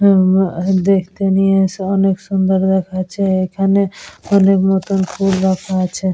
উম আহা দেখতে নিয়ে এসে অনেক সুন্দর দ্যখাচ্ছে এখানে। অনেক নতুন ফুল রাখা আছে।